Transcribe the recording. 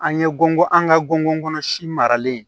An ye gɔngɔn an ka gɔngɔn kɔnɔ si maralen